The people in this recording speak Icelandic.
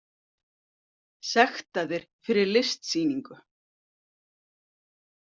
Sektaðir fyrir listsýningu